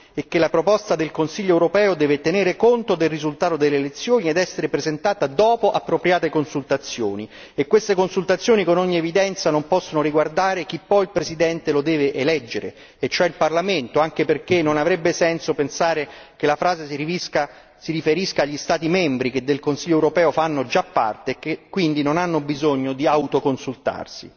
e che la proposta del Consiglio europeo deve tenere conto del risultato delle elezioni ed essere presentata dopo appropriate consultazioni e queste consultazioni, con ogni evidenza, non possono riguardare chi poi il Presidente lo deve eleggere e cioè il Parlamento, anche perché non avrebbe senso pensare che la frase si riferisca agli Stati membri che del Consiglio europeo fanno già parte e che quindi non hanno bisogno di autoconsultarsi.